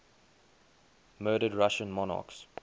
murdered russian monarchs